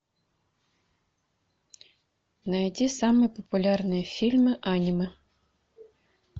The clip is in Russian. найди самые популярные фильмы аниме